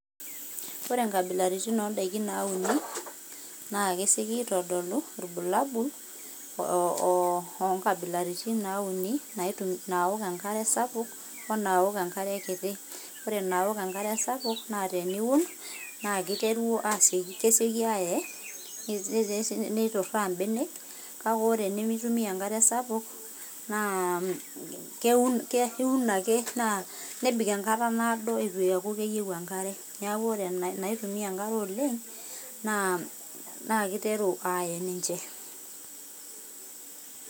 ore inkabilaritini oo ndaiki nauni, naa kesioki aitodolu olbulabul onkabilaritini nauni naaok enkare sapuk o naok enkare kiti. ore naok enkare sapuk naa teniun naa kesioki aae, neituraa imbenek kake ore nemeitumia enkare sapuk, naa iun ake nebik enkata naado itu eeku keyieu enkare. neaku ore naitumia enkare oleng' naa keiteru ae ninche.